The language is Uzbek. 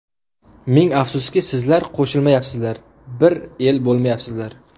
Ming afsuski, sizlar qo‘shilmayapsizlar, bir el bo‘lmayapsizlar.